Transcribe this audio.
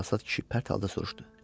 Çalsat kişi pərt halda soruşdu.